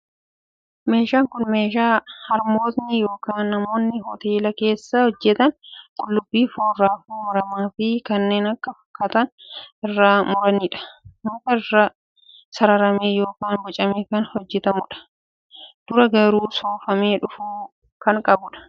Meeshaan kun meeshaa harmootiin yookiin namoonni hoteela keessaa hojjetan qullubbii, foon, raafuu maramaa fi kanneen kana fakkaatan irratti muranidha. Muka irraa sararamee yookiin bocamee kan hojjetamudha. Dura garuu soofamee dhufuu kan qabudha!